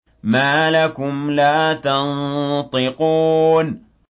مَا لَكُمْ لَا تَنطِقُونَ